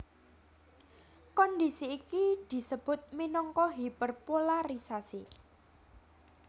Kondhisi iki disebut minangka hiperpolarisasi